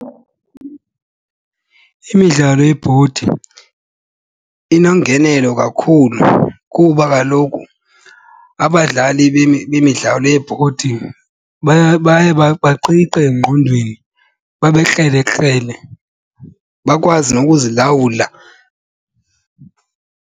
Imidlalo yebhodi inongelo kakhulu kuba kaloku abadlali bemidlalo yebhodi baye baqiqe engqondweni, babe krelekrele bakwazi nokuzilawula.